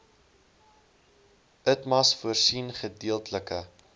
itmas voorsien gedeeltelike